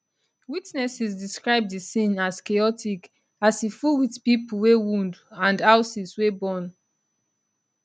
witnesses describe di scene as chaotic as e full wit pipo wey wound and houses wey burn